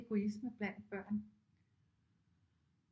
Egoisme blandt børn